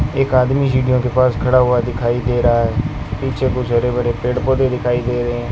एक आदमी सीढ़ियों के पास खड़ा हुआ दिखाई दे रहा है पीछे कुछ हरे भरे पेड़ पौधे दिखाई दे रहे हैं।